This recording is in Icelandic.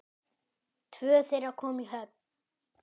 Tvö þeirra komu í höfn.